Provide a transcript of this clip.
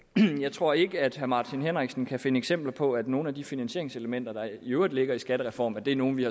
tror ikke at herre martin henriksen kan finde eksempler på at nogle af de finansieringselementer der i øvrigt ligger i skattereformen er nogle vi